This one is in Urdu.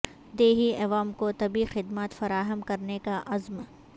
دیہی عوام کو طبی خدمات فراہم کرنے کا عزم